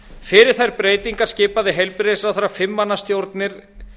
fyrir þær breytingar skipaði heilbrigðisráðherra fimm manna stjórnir